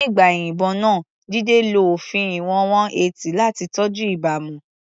Nígbà ìyìnbọn náà, Jide lo òfin ìwọ̀n 180 láti tọ́jú ìbámu.